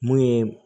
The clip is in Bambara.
Mun ye